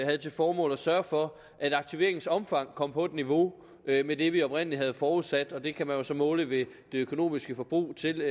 havde til formål at sørge for at aktiveringens omfang kom på et niveau med det vi oprindelig havde forudsat det kan man jo så måle ved det økonomiske forbrug til